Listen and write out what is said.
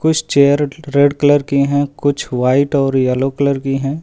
कुछ chair red colour की है कुछ व्हाइट और येलो कलर की हैं।